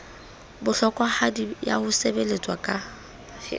bohlokwahadi ya ho sebeletswa ka